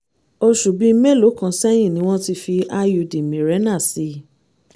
oṣù bíi mélòó kan sẹ́yìn ni wọ́n ti fi iud mirena sí i